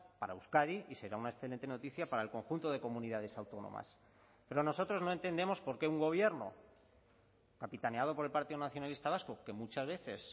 para euskadi y será una excelente noticia para el conjunto de comunidades autónomas pero nosotros no entendemos por qué un gobierno capitaneado por el partido nacionalista vasco que muchas veces